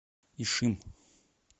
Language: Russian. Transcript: ишим